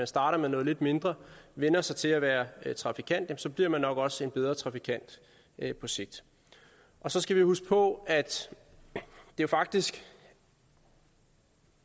starter med noget lidt mindre og vænner sig til at være trafikant så bliver man nok også en bedre trafikant på sigt så skal vi huske på at der faktisk